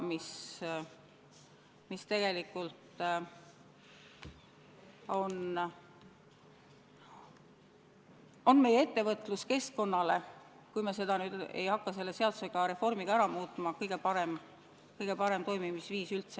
See tegelikult on meie ettevõtluskeskkonnas, kui me nüüd ei hakka seda selle reformiga ära muutma, kõige parem toimimisviis üldse.